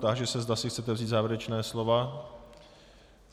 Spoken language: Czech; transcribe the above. Táži se, zda si chcete vzít závěrečná slova.